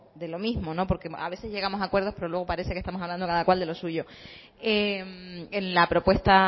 de lo mismo porque a veces llegamos a acuerdos pero luego parece que estamos hablando cada cual de lo suyo en la propuesta